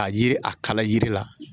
Ka yiri a kala yiri la